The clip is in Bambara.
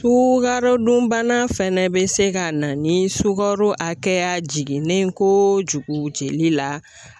Sukarodunbana fɛnɛ be se ka na ni sukaro akɛya jiginnen kojugu jeli la.